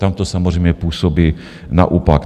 Tam to samozřejmě působí naopak.